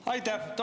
Aitäh!